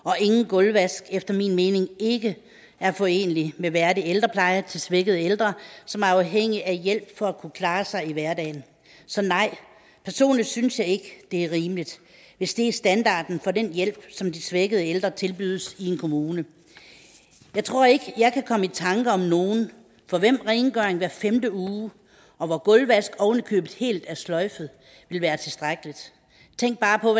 og ingen gulvvask efter min mening ikke er forenelig med en værdig ældrepleje til svækkede ældre som er afhængige af hjælp for at kunne klare sig i hverdagen så nej personligt synes jeg ikke det er rimeligt hvis det er standarden for den hjælp som de svækkede ældre tilbydes i en kommune jeg tror ikke at jeg kan komme i tanke om nogen for hvem rengøring hver femte uge og hvor gulvvask oven i købet helt er sløjfet vil være tilstrækkeligt tænk bare på